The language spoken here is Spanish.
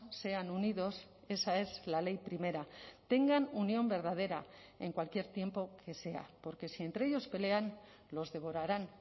sean unidos esa es la ley primera tengan unión verdadera en cualquier tiempo que sea porque si entre ellos pelean los devorarán